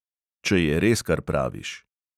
"Če je res, kar praviš."